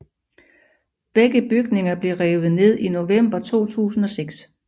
Begge bygninger blev revet ned i november 2006